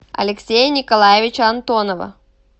алексея николаевича антонова